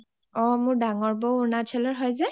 অ মোৰ ডাঙৰ বৌ অৰুণাচলৰ হয় যে